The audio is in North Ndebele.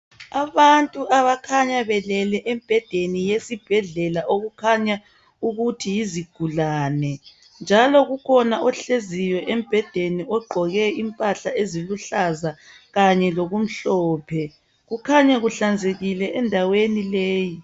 Abantu abakhanya belele embhedeni yesibhedlela okukhanya ukuthi yizigulane njalo kukhona ohleziyo embhedeni ogqoke impahla eziluhlaza kanye lokumhlophe kukhanya kuhlanzekile endaweni leyi.